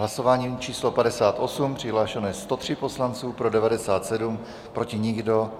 Hlasování číslo 58, přihlášeno je 103 poslanců, pro 97, proti nikdo.